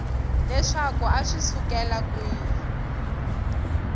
leswaku a swi sukela kwihi